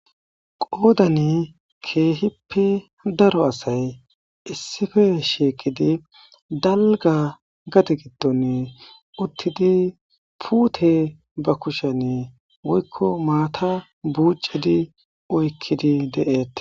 Qoodani keehippe daro asay issife sheekidi dalga gati giddone uttidi puute ba kushane woykko maata buucidi oykkidi de'eette.